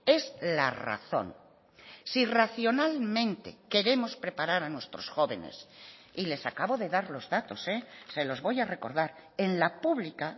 es la razón si racionalmente queremos preparar a nuestros jóvenes y les acabo de dar los datos se los voy a recordar en la pública